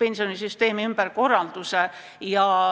pensionisüsteemi ümberkorralduse uuele ringile saata.